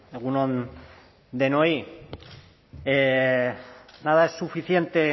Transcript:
egun on denoi nada es suficiente